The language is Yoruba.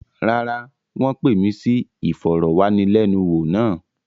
Rárá, wọ́n pè mí sí ìfọ̀rọ̀wánilẹ́niwò náà.